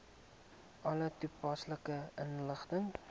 alle toepaslike inligting